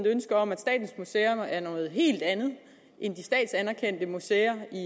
ønske om at statens museer er noget helt andet end de statsanerkendte museer i